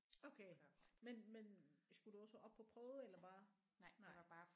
Okay men men skulle du også op på prøve eller bare nej